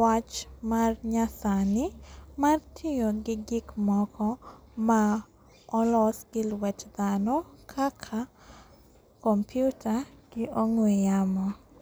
wach mar nyasani mar tiyogi gik moko ma olos gi lwet dhano kaka kompyuta gi ong'we yamo.